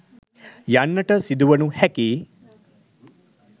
යන්නට සිදුවනු හැකි යි.